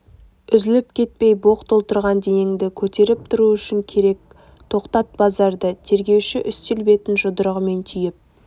үзіліп кетпей боқ толтырған денеңді көтеріп тұру үшін керек тоқтат базарды тергеуші үстел бетін жұдырығымен түйіп